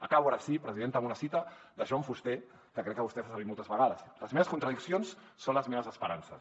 acabo ara sí presidenta amb una cita de joan fuster que crec que vostè fa servir moltes vegades les meves contradiccions són les meves esperances